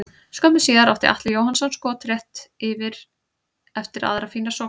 Skömmu síðar átti Atli Jóhannsson skot rétt yfir eftir aðra fína sókn.